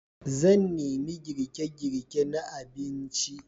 Zan nemi girke-girke na abinci.